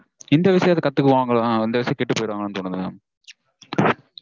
இந்த விஷயத்த கத்துக்குவாங்களோ ஆஹ் இந்த வயசுல கெட்டுப்போயிருவாங்களோனு தோணுது mam